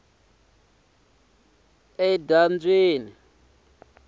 endzambyana